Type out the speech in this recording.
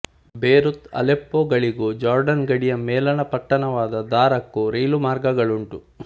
Beirut ಅಲೆಪ್ಪೋಗಳಿಗೂ Jordan ಗಡಿಯ ಮೇಲಣ ಪಟ್ಟಣವಾದ ದಾರಕ್ಕೂ ರೈಲುಮಾರ್ಗಗಳುಂಟು